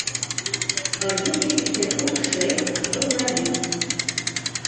бандитский петербург шесть журналист